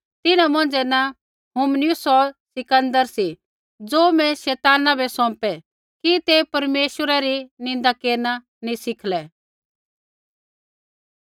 तिन्हां मौंझ़ै न हुमिनयुस होर सिकन्दर सी ज़ो मैं शैताना बै सौंपै कि ते परमेश्वरा री निन्दा केरना नी सीखलै